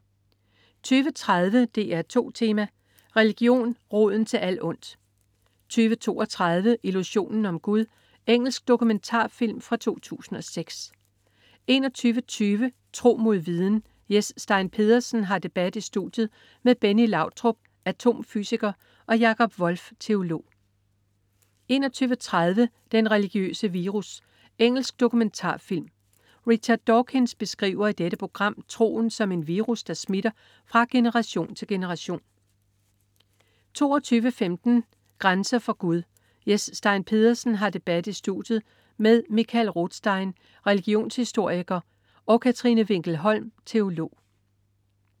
20.30 DR2 Tema: Religion, roden til alt ondt 20.32 Illusionen om Gud. Engelsk dokumentarfilm fra 2006 21.20 Tro mod viden. Jes Stein Pedersen har debat i studiet med Benny Lautrop, atomfysiker og Jakob Wolf, teolog 21.30 Den religiøse virus. Engelsk dokumentarfilm. Richard Dawkins beskriver i dette program troen som en virus, der smitter fra generation til generation 22.15 Grænser for Gud. Jes Stein Pedersen har debat i studiet med Michael Rothstein, religionshistoriker, og Katrine Winkel Holm, teolog